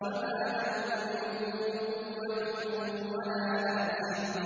فَمَا لَهُ مِن قُوَّةٍ وَلَا نَاصِرٍ